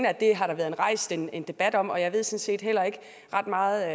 at det har der været rejst en en debat om og jeg ved sådan set heller ikke ret meget